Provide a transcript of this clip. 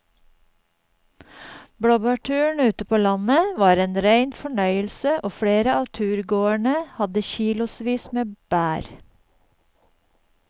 Blåbærturen ute på landet var en rein fornøyelse og flere av turgåerene hadde kilosvis med bær.